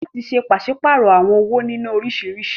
Láti ṣe pàṣípàrọ̀ àwọn owó nínọ́ oríṣiríṣi.